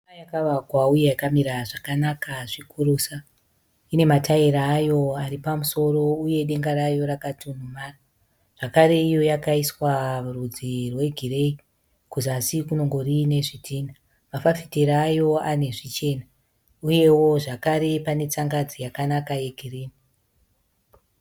Imba yakavakwa uye yakamira zvakanaka zvikurusa. Ine mataira ayo ari pamusoro uye denga rayo rakatunhumara. Zvakare, iyo yakaiswa rudzi rwegireyi kuzasi kunongori nezvidhina. Mafafitera ayo ane zvichena uyewo zvakare pane tsangadzi yakanaka yegirini.